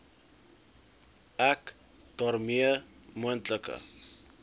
ek daarmee moontlike